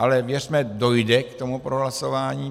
Ale věřme, dojde k tomu prohlasování.